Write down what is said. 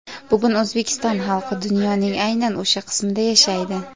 Bugun O‘zbekiston xalqi dunyoning aynan o‘sha qismida yashaydi.